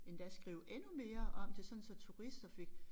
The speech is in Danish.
Endda skrive endnu mere om det sådan så turister fik